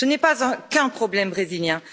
Ce n'est pas qu'un problème brésilien.